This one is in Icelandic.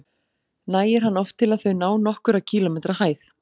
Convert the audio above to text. Nægir hann oft til að þau ná nokkurra kílómetra hæð.